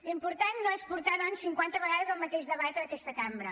l’important no és portar doncs cinquanta vegades el mateix debat en aquesta cambra